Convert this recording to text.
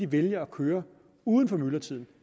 vælger at køre uden for myldretiden